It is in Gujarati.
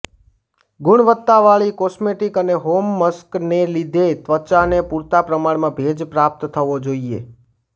ગુણવત્તાવાળી કોસ્મેટિક અને હોમ માસ્કને લીધે ત્વચાને પૂરતા પ્રમાણમાં ભેજ પ્રાપ્ત થવો જોઈએ